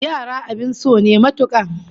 Yara abin so ne matuka